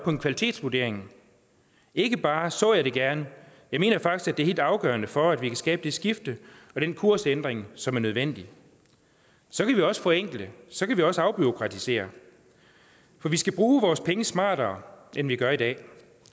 en kvalitetsvurdering ikke bare så jeg det gerne jeg mener faktisk at det er helt afgørende for at vi kan skabe det skifte og den kursændring som er nødvendig så kan vi også forenkle så kan vi også afbureaukratisere for vi skal bruge vores penge smartere end vi gør i dag